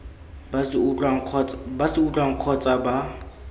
ba se utlwang kgotsa ba